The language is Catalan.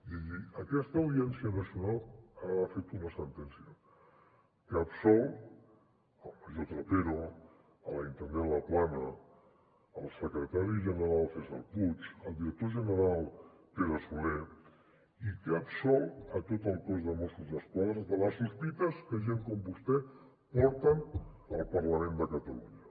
i aquesta audiència nacional ha fet una sentència que absol el major trapero la intendent laplana el secretari general cèsar puig el director general pere soler i que ha absolt tot el cos de mossos d’esquadra de les sospites que gent com vostè porten al parlament de catalunya